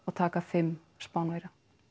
taka fimm Spánverja